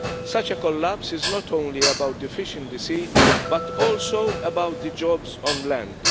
Such a collapse is not only about the fish in the sea, but also about the jobs on land.